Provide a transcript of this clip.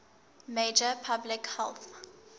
major public health